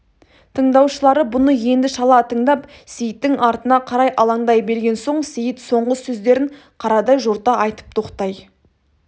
тыңдаушылары бұны енді шала тыңдап сейіттің артына қарай алаңдай берген соң сейіт соңғы сөздерін қарадай жорта айтып тоқтай